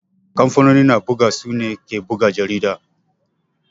kamfanoni na ɓuga su ne ke ɓuga jariɗa.